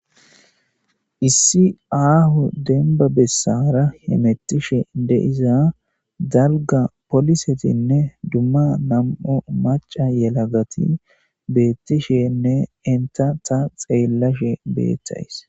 Issi daro aho besara hamutish de'iza dalga polisetine duma nam'u maca yelagati betishe ne enta ta xellashe betaysi